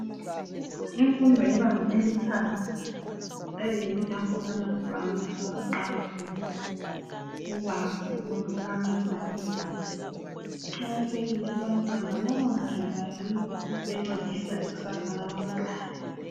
Imfundo yebanga eliphansi eyiyo lapho abantwana abaqala khona, ukwazi ukwehlukanisa izinto. Kuqakathekile kubantwana bonke ngoba yiyo encedisa ikusasa labantwana.